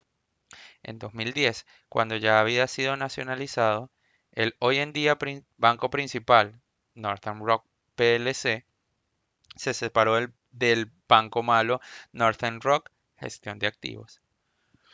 en 2010 cuando ya había sido nacionalizado el hoy en día banco principal northern rock plc se separó del «banco malo» northern rock gestión de activos